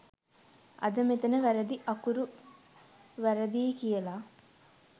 අද මෙතන වැරදි අකුරු වැරදියි කියලා